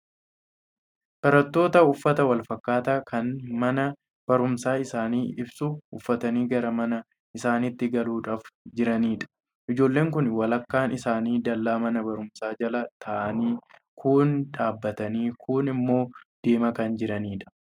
Barattoota uffata walfakkaataa kan mana baruumsaa isaanii ibsu uffatanii gara mana isaaniitti galuudhaaf jiranidha. Ijoolleen kun walakkaan isaanii dallaa mana baruumsaa jala taa'anii kuun dhaabatanii kuun immoo deemaa kan jiranidha.